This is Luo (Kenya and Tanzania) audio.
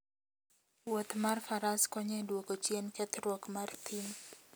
Wuoth mar faras konyo e duoko chien kethruok mar thim